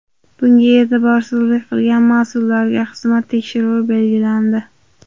Bunga e’tiborsizlik qilgan mas’ullarga xizmat tekshiruvi belgilandi.